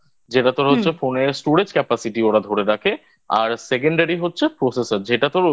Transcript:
যেটা তোর হচ্ছে Phone এর Storage Capacity ধরে রাখে আর Secondary হচ্ছে Processor যেটা